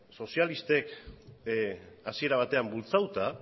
sozialisten hasiera batean bultzatuta